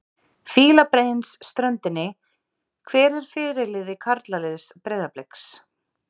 Fílabeinsströndinni Hver er fyrirliði karlaliðs Breiðabliks?